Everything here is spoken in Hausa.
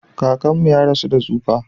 Kakanmu ya rasu da tsufa.